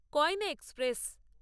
Koyna express